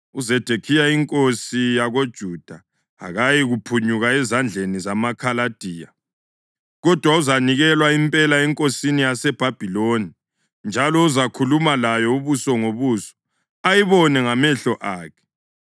UZedekhiya inkosi yakoJuda akayikuphunyuka ezandleni zamaKhaladiya, kodwa uzanikelwa impela enkosini yaseBhabhiloni, njalo uzakhuluma layo ubuso ngobuso ayibone ngamehlo akhe.